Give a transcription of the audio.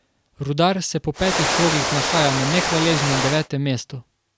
Rudar se po petih krogih nahaja na nehvaležnem devetem mestu.